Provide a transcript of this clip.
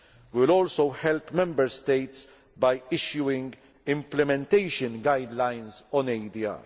We will also help Member States by issuing implementation guidelines